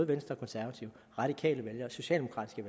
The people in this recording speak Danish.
venstre og konservative radikale vælgere socialdemokratiske